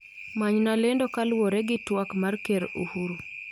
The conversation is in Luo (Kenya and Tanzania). Manyna lendo kaluwore gi twak mar ker Uhuru